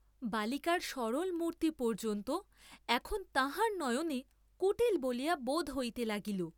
বালিকার সরল মূর্ত্তি পর্য্যন্ত এখন তাঁহার নয়নে কুটিল বলিয়া বােধ হইতে লাগিল।